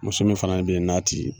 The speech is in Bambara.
Muso min fana nin bɛ ye n'a ti